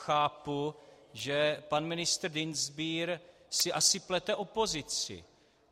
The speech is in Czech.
Chápu, že pan ministr Dienstbier si asi plete opozici.